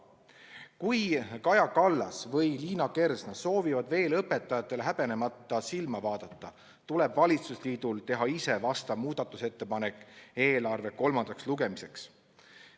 Kui Kaja Kallas või Liina Kersna soovivad veel õpetajatele häbenemata silma vaadata, tuleb valitsusliidul teha ise vastav muudatusettepanek eelarve kolmandaks lugemiseks.